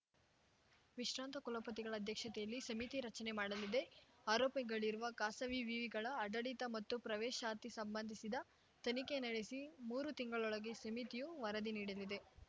ವಿಶ್ರಾಂತ ಕುಲಪತಿಗಳ ಅಧ್ಯಕ್ಷತೆಯಲ್ಲಿ ಸಮಿತಿ ರಚನೆ ಮಾಡಲಿದೆ ಆರೋಪಗಳಿರುವ ಖಾಸವಿ ವಿವಿಗಳ ಆಡಳಿತ ಮತ್ತು ಪ್ರವೇಶಾತಿ ಸಂಬಂಧಿಸಿದ ತನಿಖೆ ನಡೆಸಿ ಮೂರು ತಿಂಗಳೊಳಗೆ ಸಮಿತಿಯು ವರದಿ ನೀಡಲಿದೆ